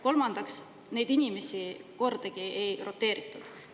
Kolmandaks, neid inimesi kordagi ei roteeritud.